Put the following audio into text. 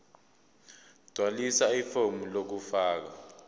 gqwalisa ifomu lokufaka